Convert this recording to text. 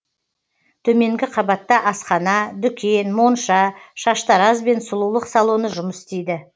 төменгі қабатта асхана дүкен монша шаштараз бен сұлулық салоны жұмыс істейді